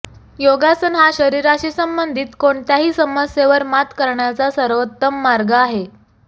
योगासन हा शरीराशी संबंधित कोणत्याही समस्येवर मात करण्याचा सर्वोत्तम मार्ग आहे